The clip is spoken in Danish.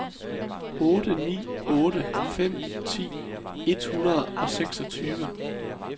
otte ni otte fem ti et hundrede og seksogtyve